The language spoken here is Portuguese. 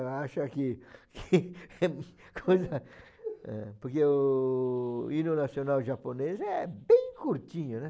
Eu acha que que eh. Porque o hino nacional japonês é bem curtinho, né?